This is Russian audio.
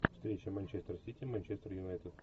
встреча манчестер сити манчестер юнайтед